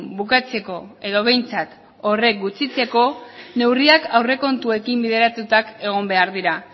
bukatzeko edo behintzat hori gutxitzeko neurriak aurrekontuekin bideratuta egon behar dira